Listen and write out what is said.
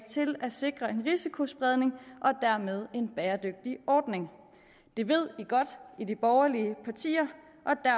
til at sikre en risikospredning og dermed en bæredygtig ordning det ved man godt i de borgerlige partier